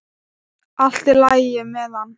Allt í lagi með hann.